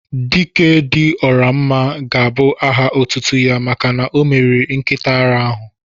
"Dike dị ọra mma" ga-abụ áhà otútú ya màkà na omeriri nkịta árá áhù